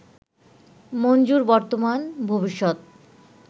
মঞ্জুর বর্তমান ভবিষ্যত